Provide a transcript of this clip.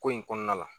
Ko in kɔnɔna la